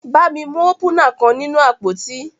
Bami mu opúnạ kan ninu apoti.